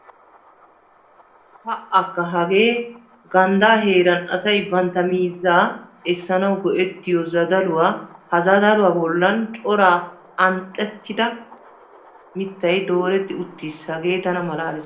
Pa"akka! Hagee ganddaa heeran asay bantta miizzaa essanawu go"ettiyo zadaluwa ha zadaluwa bollan cora anxxettida mittay dooretti uttiis hagee tana malaalees.